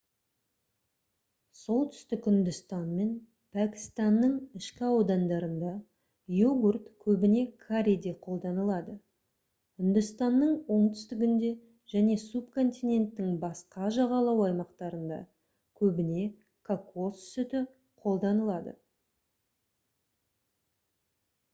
солтүстік үндістан мен пәкістанның ішкі аудандарында йогурт көбіне карриде қолданылады үндістанның оңтүстігінде және субконтиненттің басқа жағалау аймақтарында көбіне кокос сүті қолданылады